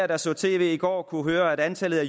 der så tv i går kunne høre at antallet af